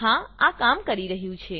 હા આ કામ કરી રહ્યું છે